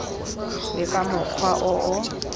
le ka mokgwa o o